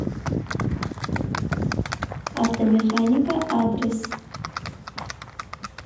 автомеханика адрес